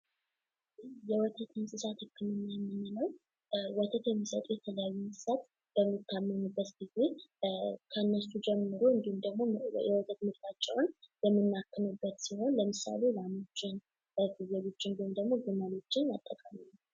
የወተት እንስሳት ህክም የምንለው ወተት የሚሰጡ የተለያዩ እንስሳት በሚታመሙበት ጊዜ ከእነሱ ጀምሮ እንዲሁም ደግሞ የወተት ምርታቸውን የምናክምበት ሲሆን። ለምሳሌ ላሞችን ፣ፍየሎችን እና ግመሎችን መጥቀስ ይቻላል።